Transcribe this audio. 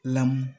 Lamu